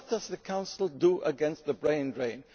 But what is the Council doing against the brain drain?